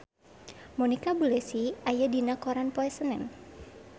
Monica Belluci aya dina koran poe Senen